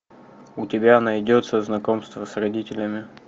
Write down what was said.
у тебя найдется знакомство с родителями